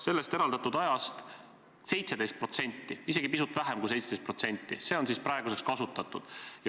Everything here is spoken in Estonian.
Sellest 17% või isegi pisut vähem kui 17% on praeguseks kasutatud.